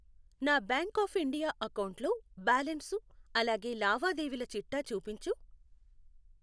నా bank of India అకౌంటులో balance, అలాగే లావాదేవీల చిట్టా చూపించు.